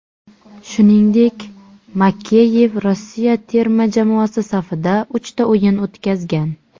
Shuningdek, Makeyev Rossiya terma jamoasi safida uchta o‘yin o‘tkazgan.